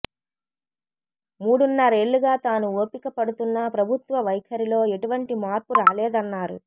మూడున్నరేళ్ళుగా తాను ఓపిక పడుతున్నా ప్రభుత్వ వైఖరిలో ఎటువంటి మార్పు రాలేదన్నారు